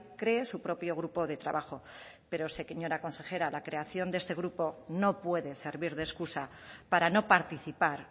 cree su propio grupo de trabajo pero señora consejera la creación de este grupo no puede servir de excusa para no participar